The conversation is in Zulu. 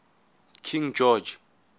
king george